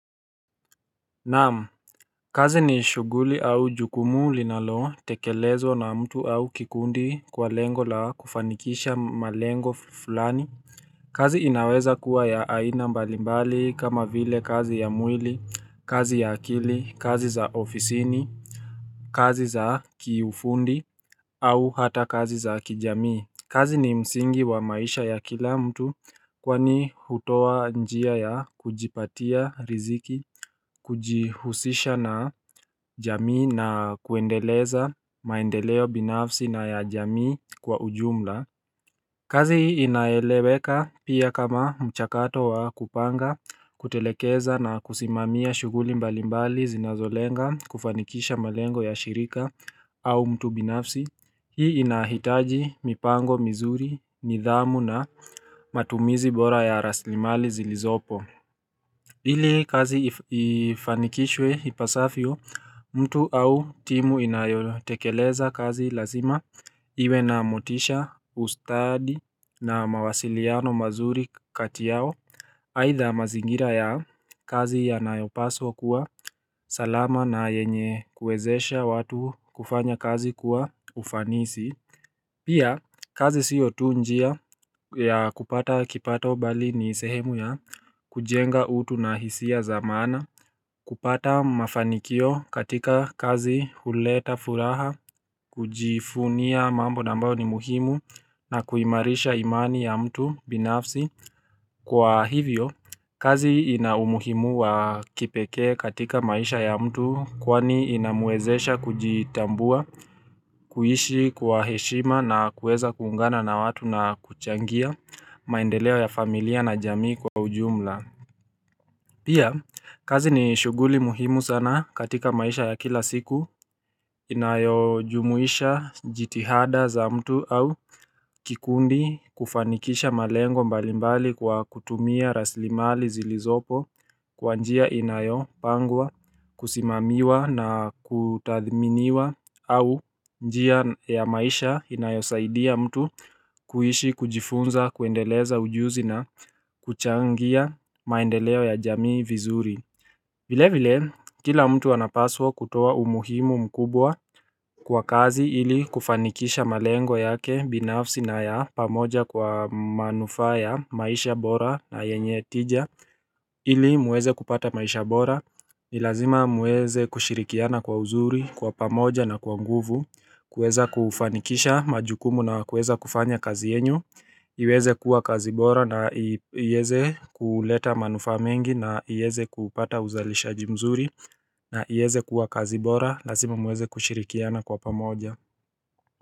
Naam kazi ni shughuli au jukumu linalotekelezwa na mtu au kikundi kwa lengo la kufanikisha malengo fulani kazi inaweza kuwa ya aina mbalimbali kama vile kazi ya mwili, kazi ya akili, kazi za ofisini kazi za kiufundi au hata kazi za kijamii kazi ni msingi wa maisha ya kila mtu kwani hutoa njia ya kujipatia riziki kujihusisha na jamii na kuendeleza maendeleo binafsi na ya jamii kwa ujumla kazi hii inaeleweka pia kama mchakato wa kupanga kutelekeza na kusimamia shughuli mbalimbali zinazolenga kufanikisha malengo ya shirika au mtu binafsi Hii inahitaji mipango mizuri, nidhamu na matumizi bora ya rasilimali zilizopo ili kazi ifanikishwe ipasavyo mtu au timu inayotekeleza kazi lazima Iwe na motisha ustadi na mawasiliano mazuri kati yao aidha mazingira ya kazi yanayopaswa kuwa salama na yenye kuwezesha watu kufanya kazi kuwa ufanisi Pia, kazi sio tu njia ya kupata kipato bali ni sehemu ya kujenga utu na hisia za maana kupata mafanikio katika kazi huleta furaha, kujivunia mambo na ambayo ni muhimu na kuimarisha imani ya mtu binafsi Kwa hivyo, kazi inaumuhimu wa kipekee katika maisha ya mtu kwani inamwezesha kujitambua kuishi kwa heshima na kuweza kuungana na watu na kuchangia maendeleo ya familia na jamii kwa ujumla Pia kazi ni shughuli muhimu sana katika maisha ya kila siku Inayojumuisha jitihada za mtu au kikundi kufanikisha malengo mbalimbali kwa kutumia rasilimali zilizopo kwa njia inayopangwa Kusimamiwa na kutathminiwa au njia ya maisha inayosaidia mtu kuishi kujifunza kuendeleza ujuzi na kuchangia maendeleo ya jamii vizuri vile vile kila mtu anapaswa kutowa umuhimu mkubwa kwa kazi ili kufanikisha malengo yake binafsi na ya pamoja kwa manufaa ya maisha bora na yenye tija ili muweze kupata maisha bora, ni lazima muweze kushirikiana kwa uzuri, kwa pamoja na kwa nguvu kuweza kufanikisha majukumu na kuweza kufanya kazi yenu iweze kuwa kazi bora na iweze kuleta manufa mengi na iweze kupata uzalisha jimzuri na iweze kuwa kazi bora, lazima muweze kushirikiana kwa pamoja.